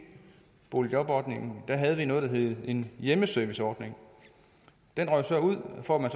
boligjobordningen havde vi noget der hed en hjemmeserviceordning den røg så ud for at man